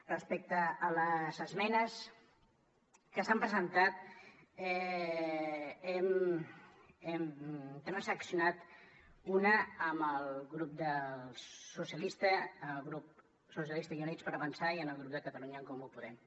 respecte a les esmenes que s’han presentat n’hem transaccionat una amb el grup socialistes i units per avançar i amb el grup de catalunya en comú podem